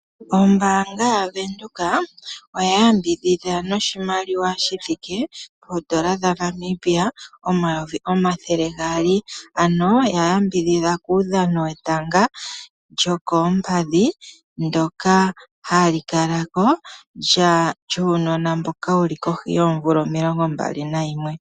Ombaanga yaWindhoek oya yambidhidha noshimaliwa shithike poondola dhaNamibia omayovi omathele gaali, ano ya yambidhidha kuudhano wetanga lyokoompadhi ndoka ha li kala ko lyuunona mboka wuli kohi yoomvula omilongo mbali nayimwe.